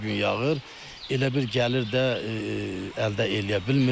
Hər gün yağır, elə bil gəlir də əldə eləyə bilmirik.